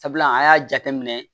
Sabula an y'a jateminɛ